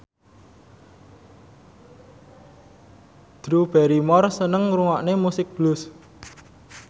Drew Barrymore seneng ngrungokne musik blues